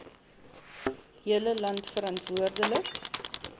hele land verantwoordelik